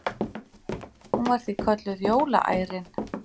Hún var því kölluð jólaærin.